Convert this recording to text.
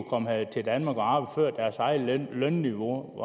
komme her til danmark og arbejde før deres eget lønniveau